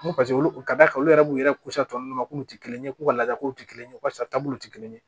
Ko paseke olu ka d'a olu yɛrɛ b'u yɛrɛ kusa tɔ ninnu kun tɛ kelen ye k'u ka ladalaw tɛ kelen ye walasa taabolow tɛ kelen ye